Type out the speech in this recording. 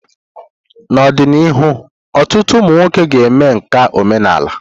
N'ọdịnihu, ọtụtụ ụmụ nwoke ga-eme nka omenala.